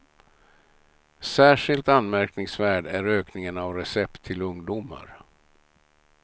Särskilt anmärkningsvärd är ökningen av recept till ungdomar.